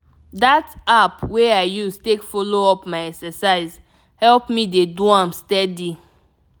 that app wey i use take follow up my exercise help me dey do am steady.